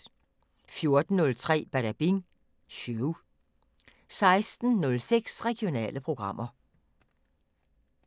14:03: Badabing Show 16:06: Regionale programmer